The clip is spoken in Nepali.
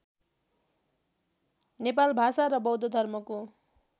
नेपाल भाषा र बौद्धधर्मको